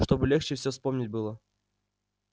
чтобы легче все вспомнить было